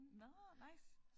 Nåh nice